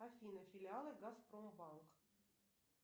афина филиалы газпромбанк